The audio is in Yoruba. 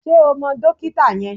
Ṣé o mọ dókítà yẹn?